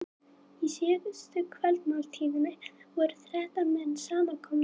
Í síðustu kvöldmáltíðinni voru þrettán menn samankomnir.